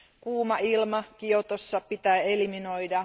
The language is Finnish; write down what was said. Kuuma ilma Kiotossa pitää eliminoida.